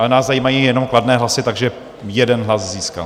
Ale nás zajímají jenom kladné hlasy, takže 1 hlas získal.